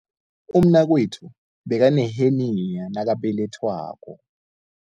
Umnakwethu bekaneheniya nakabelethwako.